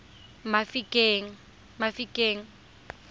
mafikeng